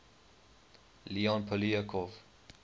leon poliakov